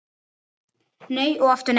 Nei og aftur nei